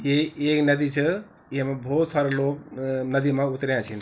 ये ऐक नदी च एमा भौत सारा लोग नदी मा उत्र्या छिन ।